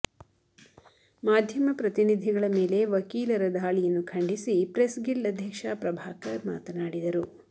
ಮಾಧ್ಯಮ ಪ್ರತಿನಿಧಿಗಳ ಮೇಲೆ ವಕೀಲರ ಧಾಳಿಯನ್ನು ಖಂಡಿಸಿ ಪ್ರೆಸ್ ಗಿಲ್ಡ್ ಅಧ್ಯಕ್ಷ ಪ್ರಭಾಕರ್ ಮಾತನಾಡಿದರು